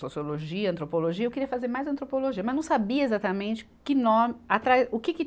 Sociologia, antropologia, eu queria fazer mais antropologia, mas não sabia exatamente que no, atrás, o que que